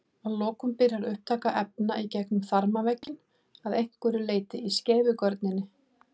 Að lokum byrjar upptaka efna í gegnum þarmavegginn að einhverju leyti í skeifugörninni.